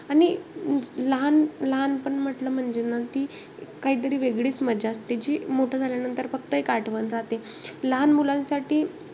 आणि अं लहान~ लहानपण म्हंटल म्हणजे ना, की काहीतरी वेगळीचं मजा असते. जी मोठं झाल्यानंतर फक्त एक आठवण राहते. लहामुलांसाठी,